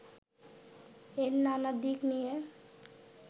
এর নানা দিক নিয়ে